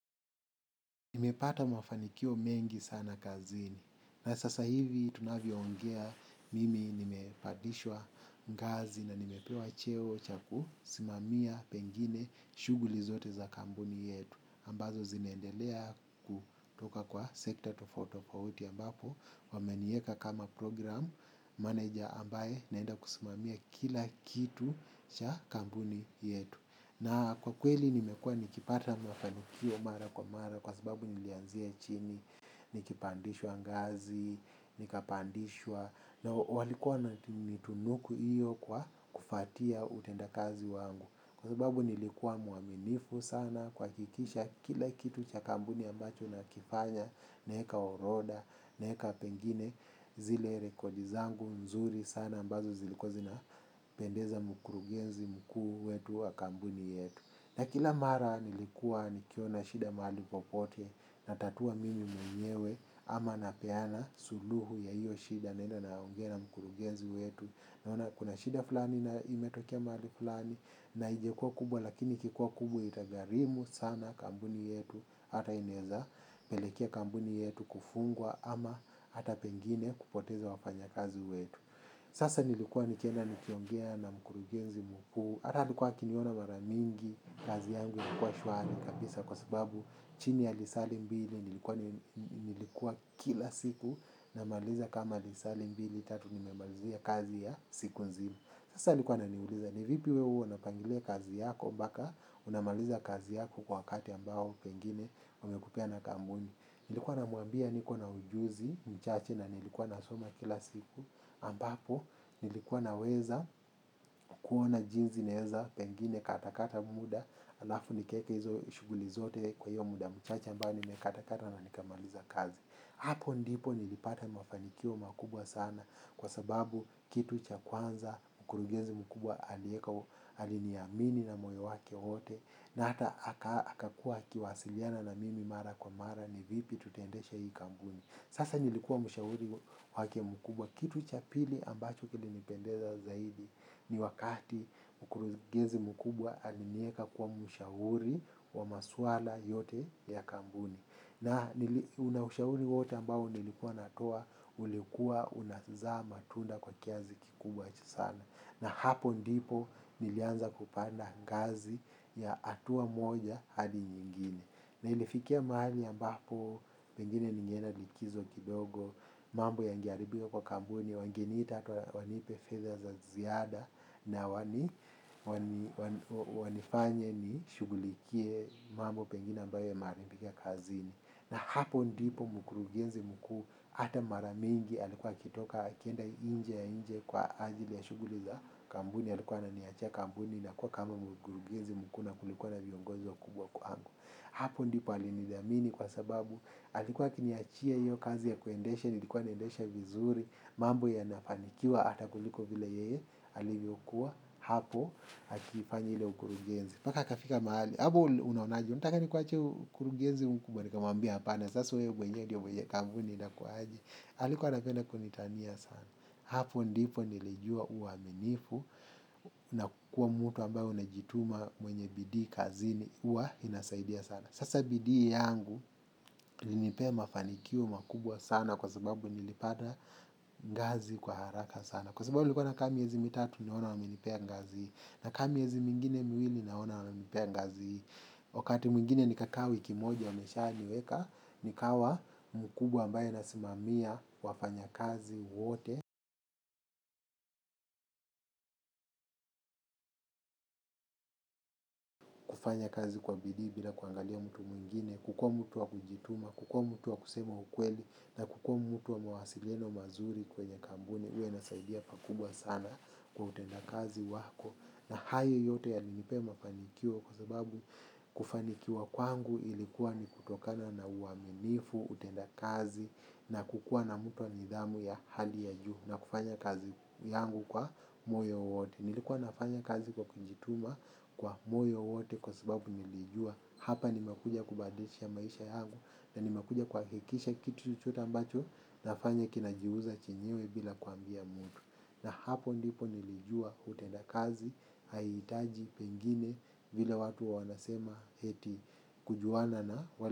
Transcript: Nimepata mawafanikio mengi sana kazini. Na sasa hivi tunavyoongea mimi nimepandishwa ngazi namepewa cheo cha kusimamia wengine shughuli zote za kambuni yetu. Ambazo zinaendelea kutoka kwa sector tofauti tofauti ambapo wamenieka kama program manager ambaye naenda kusimamia kila kitu cha kampuni yetu. Na kwa kweli nimekua nikipata mafanikio mara kwa mara kwa sababu nilianzie chini, nikipandishwa ngazi, nikapandishwa na walikuwa wameninitunuku hiyo kwa kufuatia utenda kazi wangu. Kwa sababu nilikuwa mwaminifu sana kuhakikisha kila kitu cha kampuni ambacho nakifanya naeka orodha, naeka pengine zile rekodi zangu mzuri sana ambazo zilikuwa zinapendeza mkurugenzi mkuu wetu wa kampuni yetu. Na kila mara nilikuwa nikiona shida mahali popote. Natatua mimi mwenyewe ama napeana suluhu ya hiyo shida naenda naongea na mkurugenzi wetu. Naona kuna shida fulani na imetokia mahali fulani na haijakua kubwa lakini ikikuwa kubwa itagharimu sana kampuni yetu. Hata inaeza pelekea kampuni yetu kufungwa ama hata pengine kupoteza wafanya kazi wetu. Sasa nilikuwa nikienda nikiongea na mkurugenzi mkuu. Hata alikuwa akiniona mara mingi kazi yangu ilikuwa shwari kabisa kwa sababu chini ya lisali mbili nilikuwa kila siku namaliza kama lisali mbili, tatu, nimemalizia kazi ya siku nzima. Sasa alikuwa ananiuliza, ni vipi wewe huwa unapangilia kazi yako mpaka unamaliza kazi yako kwa wakati ambao pengine wamekupea na kampuni. Nilikuwa namwambia niko na ujuzi mchache na nilikuwa nasoma kila siku ampapo nilikuwa naweza kuona jinsi naeza pengine katakata muda alafu nikaeke hizo shughuli zote kwa hiyo muda mchache ambao nimekatakata na nikamaliza kazi. Hapo ndipo nilipata mafanikio makubwa sana kwa sababu kitu cha kwanza mkurugenzi mkubwa alieka aliniamini na moyo wake wote na hata akakuwa akiwasiliana na mimi mara kwa mara ni vipi tutaendesha hii kampuni. Sasa nilikuwa mshauri wake mkubwa kitu cha pili ambacho kilinipendeza zaidi ni wakati mkurugenzi mkubwa alinieka kuwa mshauri wa maswala yote ya kampuni. Na ushauri wote ambao nilikuwa natoa, ulikuwa unazaa matunda kwa kiasi kikubwa sana. Na hapo ndipo nilianza kupanda ngazi ya hatua moja hadi nyingine. Na ilifikia mahali ambapo pengine ningeenda likizo kidogo, mambo yangeharibika kwa kampuni, wangeniita hata wanipe fedha za ziada na wanifanye nishughulikie mambo pengine ambayo yameharibika kazini. Na hapo ndipo mkurugenzi mkuu hata mara mingi alikuwakitoka akienda nje ya nchi kwa ajili ya shughuli za kampuni alikuwa ananiachia kampuni na kuwa kama mkurugenzi mkuu na kulikuwa na viongozo wakubwa kwangu. Hapo ndipo alinidhamini kwa sababu alikuwa akiniachia hiyo kazi ya kuendesha, nilikuwa naendesha vizuri, mambo yanafanikiwa hata kuliko vile yeye, alivyokuwa hapo akifanya ile ukurugenzi. Mpaka akafika mahali, hapo unaonaji, unataka nikuachie ukurugenzi mkubwa, nikamwambia apana sasa wewe ndio mwenye mampuni itakuwaje? Alikuwa anapenda kunitania sana. Hapo ndipo nilijua uwaminifu na kuwa mtu ambaye unajituma mwenye bidii kazini huwa inasaidia sana. Sasa bidii yangu ilinipea mafanikio makubwa sana kwa sababu nilipata ngazi kwa haraka sana. Kwa sababu nilikuwa nakaa miezi mitatu naona amenipea ngazi nakaa miezi mingine miwili naona amenipea ngazi. Wakati mwingine nikaa wiki moja ameshaniweka nikawa mkubwa ambaye nasimamia wafanyakazi wote. Kufanya kazi kwa bidii bila kuangalia mtu mwingine kukuwa mtu wa kujituma, kukuwa mtu wa kusema ukweli na kukuwa mtu wa mawasiliano mazuri kwenye kampuni huwa inasaidia pakubwa sana kwa utendakazi wako. Na hayo yote yalinipea mafanikio kwa sababu kufanikiwa kwangu ilikuwa ni kutokana na uaminifu utenda kazi na kukua na mtu wa nidhamu ya hali ya juu na kufanya kazi yangu kwa moyo wote. Nilikuwa nafanya kazi kwa kijituma kwa moyo wote kwa sababu nilijua hapa nimekuja kubadisha maisha yangu na nimekuja kuhakikisha kitu chochote ambacho nafanya kinajiuza chenyewe bila kuambia mtu. Na hapo ndipo nilijua utenda kazi haihitaji pengine vile watu wa wanasema eti kujuana na.